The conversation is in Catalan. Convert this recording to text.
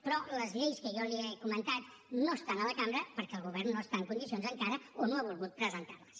però les lleis que jo li he comentat no estan a la cambra perquè el govern no hi està en condicions encara o no ha volgut presentar les